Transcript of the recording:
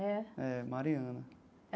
É. É, Mariana.